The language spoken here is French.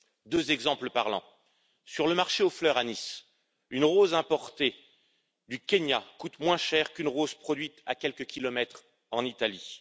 Deux exemples parlants sur le marché aux fleurs à Nice, une rose importée du Kenya coûte moins cher qu'une rose produite à quelques kilomètres, en Italie.